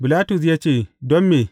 Bilatus ya ce, Don me?